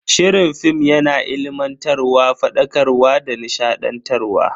Shirin film yana ilimantarwa, fadakarwa da nishadantarwa.